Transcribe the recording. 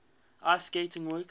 ice skating works